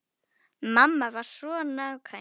Mamma var svo nákvæm.